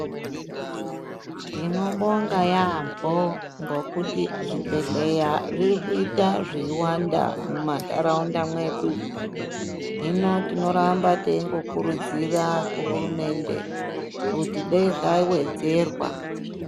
Tinobonga yambo kuti zvibhedhlera zviri kuita zveiwanda mumandaraunda medu hino tinoramba teingokurudzira kuhurumende kuti dei zvawedzerwa.